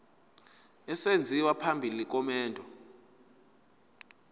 esenziwa phambi komendo